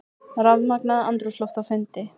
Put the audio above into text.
Rafmagnað andrúmsloft á fundi